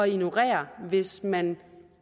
ignorere hvis man